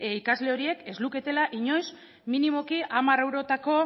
ikasle horiek ez luketela inoiz minimoki hamar eurotako